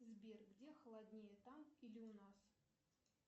сбер где холоднее там или у нас